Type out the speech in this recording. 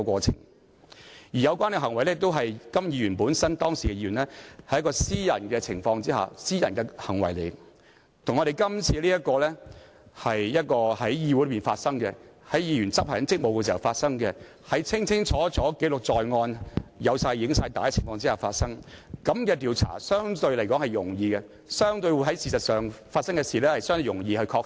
再者，有關行為是時任議員的甘乃威在私人場合的行為，而這次卻是在議會內議員執行職務時發生，清清楚楚記錄在案，更有錄影帶記錄，這樣的調查相對較容易，所發生的事實相對容易確定。